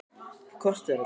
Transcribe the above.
Hvað kostar þetta?